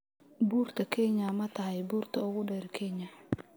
Buurta Kenya ma tahay buurta ugu dheer Kenya?